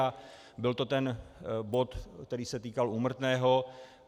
A byl to ten bod, který se týkal úmrtného.